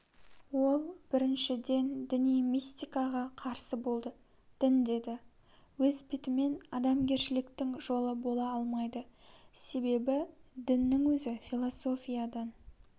ол біріншіден діни мистикаға қарсы болды дін деді өз бетімен адамгершіліктің жолы бола алмайды себебі діннің өзі философиядан